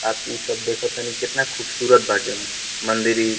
बाकी ई सब देखतनी कितना खुबसूरत बाटे मंदिर ई।